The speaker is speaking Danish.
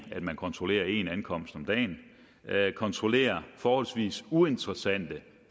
at man kontrollerer en ankomst om dagen kontrollerer forholdsvis uinteressante